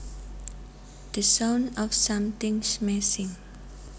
The sound of something smashing